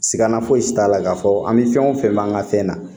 Sigaana fosi t'a la k'a fɔ an bɛ fɛn o fɛn b'an ka fɛn na